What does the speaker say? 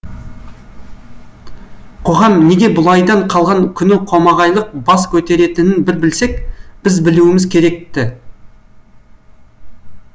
қоғам неге бұлайдан қалған күні қомағайлық бас көтеретінін бір білсек біз білуіміз керек ті